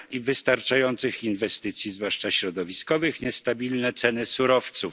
wystarczających inwestycji, zwłaszcza środowiskowych, niestabilne ceny surowców.